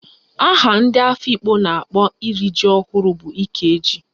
Aha ndị Afikpo na-akpọ iri ji ọhụrụ bụ Ikeji